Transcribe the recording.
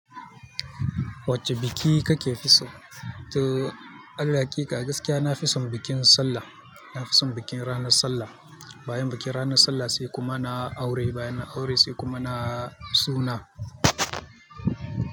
Wacce biki kake fi so? To, Allah gaskiya na fi son bikin sallah. Na fi son bikin ranar sallah. Bayan bikin ranar sallah sai kuma na aure. Bayan aure sai kuma na suna.